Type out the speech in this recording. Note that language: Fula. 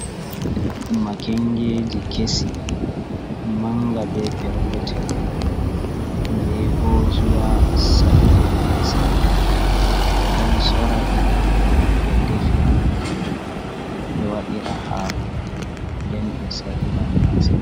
Makengeji kesi manga be perpetel be bozuwa sa’ugo masa, ɓe ɗon sora ɗi be defira nyamdu, ɓe waɗira haako nden ɓe sa’ira masa.